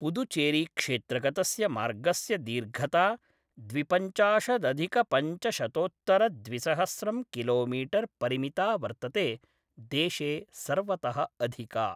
पुदुचेरीक्षेत्रगतस्य मार्गस्य दीर्घता द्विपञ्चाशदधिकपञ्चशतोत्तरद्विसहस्रं किलोमीटर् परिमिता वर्तते, देशे सर्वतः अधिका।